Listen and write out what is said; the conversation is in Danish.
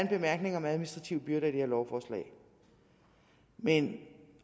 bemærkning om administrative byrder i det her lovforslag men